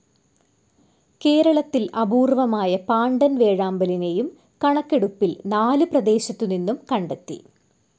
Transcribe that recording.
കേരളത്തിൽ അപൂർവമായ പാണ്ടൻ വേഴാമ്പലിനെയും കണക്കെടുപ്പിൽ നാല് പ്രദേശത്തു നിന്നും കണ്ടെത്തി.